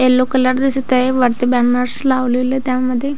Yellow colour दिसत आहे वरती बॅनर्स लावलेले त्यामध्ये.